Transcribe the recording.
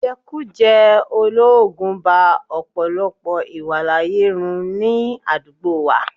Ìjẹkújẹ̀ẹ́ olóògùn ba ọ̀pọ̀lọpọ̀ ìwàláàyè ru ní àdúgbò wa